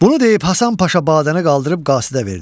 Bunu deyib Hasan Paşa badəni qaldırıb qasidə verdi.